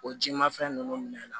O ji ma fɛn nunnu minɛ i la